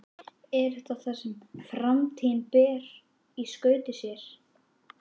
Er þetta það sem framtíðin ber í skauti sér?